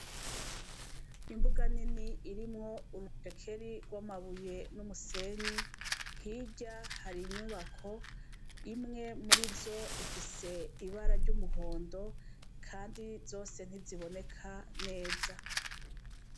Imbuga nini, irimw' urucekeri rw' amabuye n' umusenyi, hirya har' inyubak' imwe muriz' ifis' ibara ry' umuhondo kandi zose ntiziboneka neza.